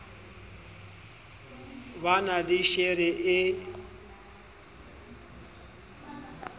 ba na le shere e